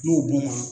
N'o donna